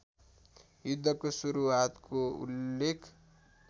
युद्धको सुरुआतको उल्लेख